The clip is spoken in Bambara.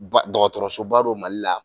Dɔgɔtɔrɔsoba don Mali la